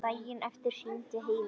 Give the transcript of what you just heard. Daginn eftir hringdi Heimir.